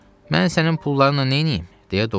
Mən sənin pullarınla neyniyim?